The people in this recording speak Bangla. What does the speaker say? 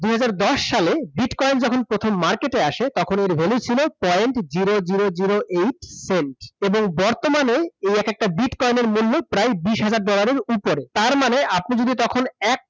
দুই হাজার দশ সালে bitcoin যখন প্রথম market এ আসে তখন এর value ছিল point zero zero zero eight cent এবং বর্তমানে এই একেকটা bitcoin এর মূল্য প্রায় বিশ হাজার dollar এর উপরে। তার মানে আপনি যদি তখন এক টাকা